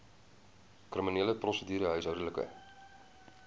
kriminele prosedure huishoudelike